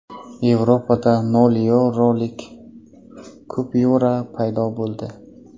Yevropada nol yevrolik kupyura paydo bo‘ldi.